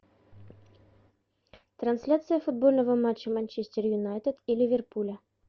трансляция футбольного матча манчестер юнайтед и ливерпуля